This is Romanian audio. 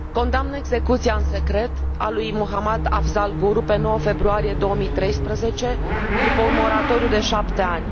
Condamn execuția în secret a lui Mohammad Afzal Guru pe 9 februarie 2013, după un moratoriu de șapte ani.